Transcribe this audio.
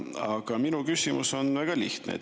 Aga minu küsimus on väga lihtne.